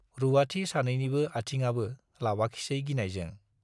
रुवाथि सानैनिबो आथिंआबो लावाखिसै गिनायजों।